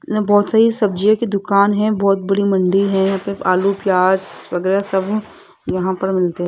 यहां बहुत सारी सब्जियों की दुकान है बहुत बड़ी मंडी है यहां पे आलू प्याज वगैरह सब यहां पर मिलते --